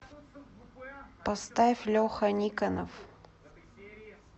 поставь леха никонов